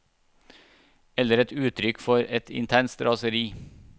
Eller et uttrykk for et intenst raseri.